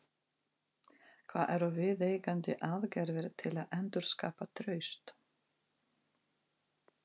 Hvað eru viðeigandi aðgerðir til að endurskapa traust?